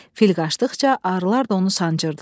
Fil qaçdıqca arılar da onu sancırdılar.